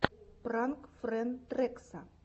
пранк фэн трэкса